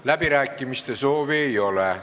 Läbirääkimiste soovi ei ole.